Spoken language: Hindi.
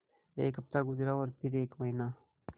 एक हफ़्ता गुज़रा और फिर एक महीना